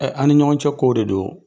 Ɛ an ni ɲɔgɔn cɛ kow de don